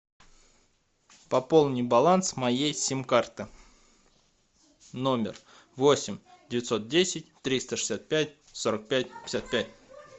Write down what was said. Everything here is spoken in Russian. пополни баланс моей сим карты номер восемь девятьсот десять триста шестьдесят пять сорок пять пятьдесят пять